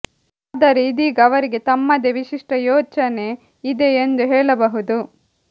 ಆದರೆ ಇದೀಗ ಅವರಿಗೆ ತಮ್ಮದೇ ವಿಶಿಷ್ಟ ಯೋಚನೆ ಇದೆ ಎಂದು ಹೇಳಬಹುದು